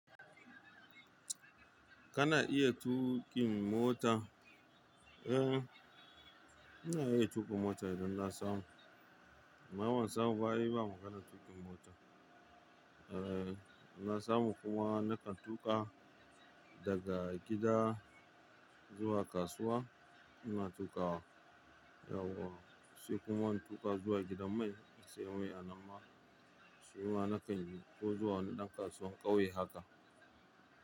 Kana iya tuƙin mota? Ina iya tuka mota idan na samu. Amma ban samu ba ai ba maganan tuka motan. Eh, in na samu kuma na kan tuƙa daga gida zuwa kasuwa. Ina tuƙawa, yauwa, sai kuma in tuƙa zuwa gidan mai in sayi mai a nan ma shima na kan yi ko zuwa wani ɗan kasuwan ƙauye haka.